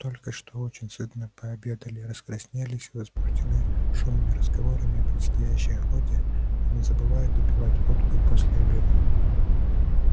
только что очень сытно пообедали раскраснелись и возбуждены шумными разговорами о предстоящей охоте но не забывают допивать водку и после обеда